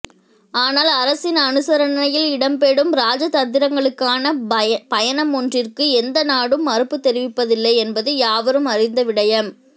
ஆனால் அரசின் அனுசரணையில் இடம்பெறும் இராஜதந்திரிகளுக்கான பயணமொன்றிற்கு எந்த நாடும் மறுப்பு தெரிவிப்பதில்லை என்பது யாவரும் அறிந்த விடயம்